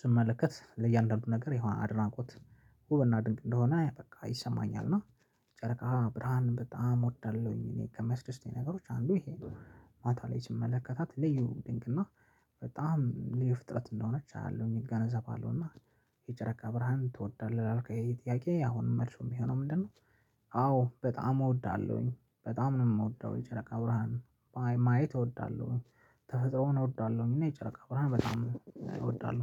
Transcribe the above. ስመለከት ለእያንዳንዱ ነገር ይሄው አድናቆት ውበና ድንቅ እንደሆነ በቃ ይሰማኛል። እና ጨረቃ ብርሃን በጣም እወዳለሁኝ። ከመስደስቱኝ ነገሮች አንዱ ይሄ ነው። ማታ ላይ ስመለከታት ልዩ ድንቅ እና በጣም ልዩ ያፍጥረት እንደሆነች አያለሁኝ እገነዘባለሁ እና የጨረቃ ብርሃን ትወዳለህ? ላልከኝ ጥያቄ አሁንም መልሱ የሚሆነው ምንድነው? አ አዎ! በጣም እወዳለሁኝ። በጣም ነው የምወደው የጨረቃ ብርሃን ማየት እወዳለሁኝ። ተፈጥሮን እወዳለሁኝ እና የጨረቃ ብርሃን በጣም እወዳለሁ።